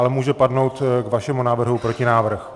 Ale může padnout k vašemu návrhu protinávrh.